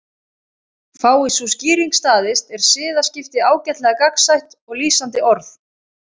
Fái sú skýring staðist er siðaskipti ágætlega gagnsætt og lýsandi orð.